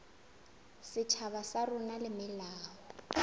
setjhaba sa rona le melao